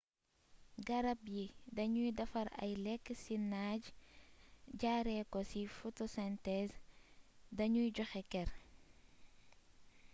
garab yi dañuy defar ay lekk ci naaj jaaree ko si photosynthèse dañuy joxe ker